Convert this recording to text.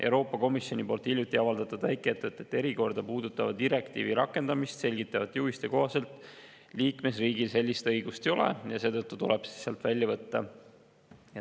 Euroopa Komisjoni hiljuti avaldatud väikeettevõtete erikorda puudutava direktiivi rakendamist selgitavate juhiste kohaselt liikmesriigil sellist õigust ei ole ja seetõttu tuleb see sealt välja võtta.